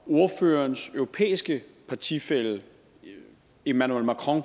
ordførerens europæiske partifælle emmanuel macron